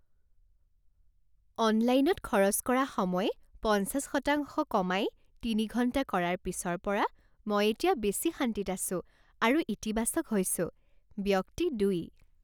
অনলাইনত খৰচ কৰা সময় পঞ্চাছশতাংশ কমাই তিনি ঘণ্টা কৰাৰ পিছৰ পৰা মই এতিয়া বেছি শান্তিত আছোঁ আৰু ইতিবাচক হৈছোঁ। ব্যক্তি দুই